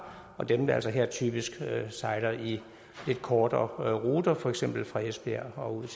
og dem der altså her typisk sejler lidt kortere ruter for eksempel fra esbjerg og